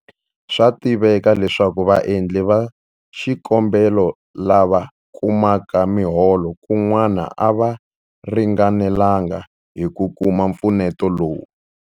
Swa tiveka leswaku vaendli va xikombelo lava kumaka miholo kun'wana a va ringanelanga hi ku kuma mpfuneto lowu.